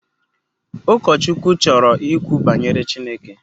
Ụkọchukwu chọrọ ikwu banyere Chineke